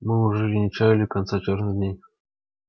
мы уж и не чаяли конца чёрных дней